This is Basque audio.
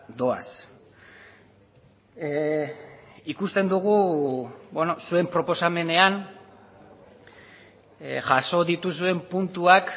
doaz ikusten dugu zuen proposamenean jaso dituzuen puntuak